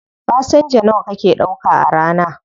Fasenja nawa kake ɗauka a rana?